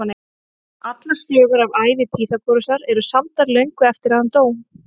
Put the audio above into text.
Allar sögur af ævi Pýþagórasar eru samdar löngu eftir að hann dó.